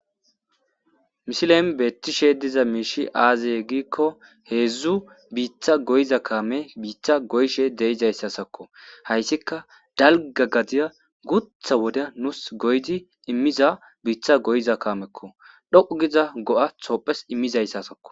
misileen beettishe diza miishi aazeye giikko heedzdzu biittaa goyiza kaame biitta goyishe de'izayssakko. hayssika dalga gadiya gutha woda nuus goydi immiza biitta goyiza kaamekko. dhoqqu giza go'a toophiyas immizayssasakko